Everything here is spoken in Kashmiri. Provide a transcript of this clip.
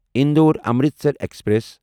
اندور امرتسر ایکسپریس